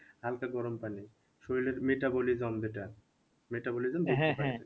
হালকা গরম পানি শরীরের metabolism যেটা metabolism